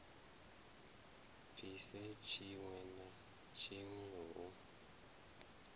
bvise tshiwe na tshiwe hu